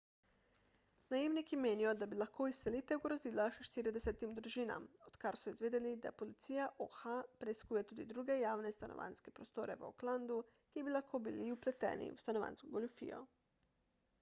najemniki menijo da bi lahko izselitev grozila še 40 družinam odkar so izvedeli da policija oha preiskuje tudi druge javne stanovanjske prostore v oaklandu ki bi lahko bili vpleteni v stanovanjsko goljufijo